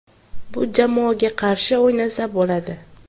Bu jamoaga qarshi o‘ynasa bo‘ladi.